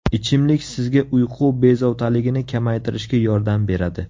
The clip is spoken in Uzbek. Ichimlik sizga uyqu bezovtaligini kamaytirishga yordam beradi.